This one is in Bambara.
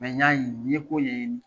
n y'a n ye ko ye.